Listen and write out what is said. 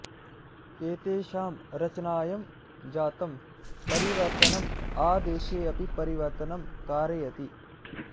एतेषां रचनायं जातं परिवर्तनम् आदेशे अपि परिवर्तनं कारयति